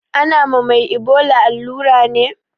Ana ma mai ibola allura ne?